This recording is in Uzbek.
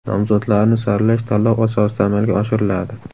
Nomzodlarni saralash tanlov asosida amalga oshiriladi.